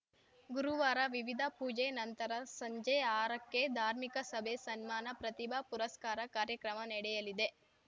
ಗುರುವಾರ ವಿವಿಧ ಪೂಜೆ ನಂತರ ಸಂಜೆ ಆರಕ್ಕೆ ಧಾಮೀಕ ಸಭೆ ಸನ್ಮಾನ ಪ್ರತಿಭಾ ಪುರಸ್ಕಾರ ಕಾರ್ಯಕ್ರಮ ನೆಡೆಯಲಿದೆ